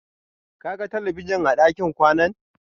Ka ga talabijin a ɗakin kwanan?